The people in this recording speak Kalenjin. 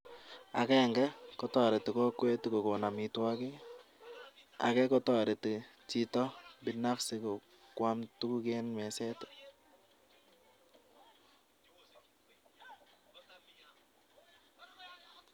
Agenge, kotoreti kokwet kokon amitwokik, ake kotoreti chito binafsi kwaam tuguk eng meset.